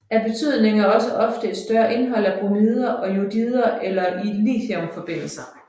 Af betydning er også ofte et større indhold af bromider og jodider eller af lithiumforbindelser